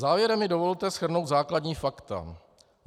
Závěrem mi dovolte shrnout základní fakta.